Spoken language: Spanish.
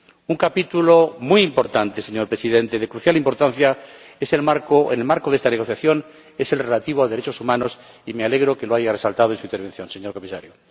Un capítulo muy importante, señor Presidente, de crucial importancia en el marco de esta negociación, es el relativo a los derechos humanos, y me alegro de que lo haya resaltado en su intervención, señor Comisario.